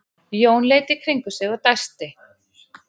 Jón leit í kringum sig og dæsti.